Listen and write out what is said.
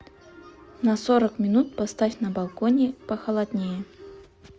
на сорок минут поставь на балконе похолоднее